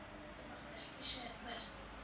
Ég mátti ekki segja hvert.